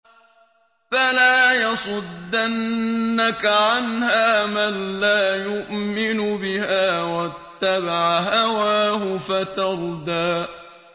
فَلَا يَصُدَّنَّكَ عَنْهَا مَن لَّا يُؤْمِنُ بِهَا وَاتَّبَعَ هَوَاهُ فَتَرْدَىٰ